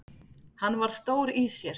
Hann var stór í sér.